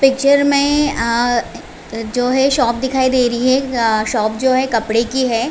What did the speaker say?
Picture मे अ जो है शॉप दिखाई दे रही है अ शॉप जो है कपड़े कि है।